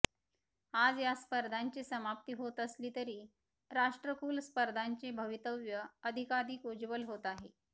आज या स्पर्धांची समाप्ती होत असली तरी राष्ट्रकुल स्पर्धांचे भवितव्य अधिकाधिक उज्ज्वल होत आहे